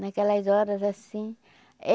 Naquelas horas assim.